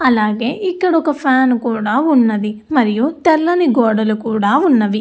అలాగే ఇక్కడొక ఫ్యాన్ కూడా ఉన్నది మరియు తెల్లని గోడలు కూడా ఉన్నవి.